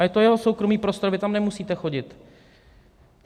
A je to jeho soukromý prostor, vy tam nemusíte chodit.